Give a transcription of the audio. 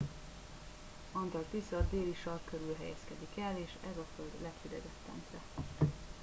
antarktisz a déli sark körül helyezkedik el és ez a föld leghidegebb pontja